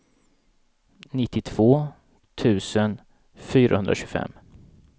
nittiotvå tusen fyrahundratjugofem